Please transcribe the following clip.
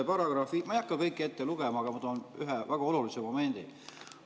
Ma ei hakka kõiki ette lugema, aga ma toon esile ühe väga olulise momendi.